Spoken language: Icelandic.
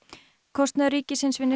kostnaður ríkisins við